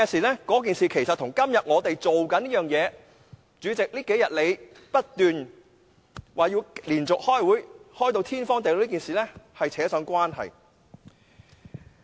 那件事其實與我們正在做的事——主席這數天不斷說我們要連續開會，開到"天荒地老"這件事——有關。